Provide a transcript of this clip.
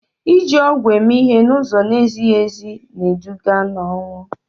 iji ọgwụ eme ihe n'ụzọ na-ezighị ezi na-eduga n'ọnwụ